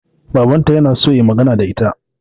Babanta na so ya yi magana da ita.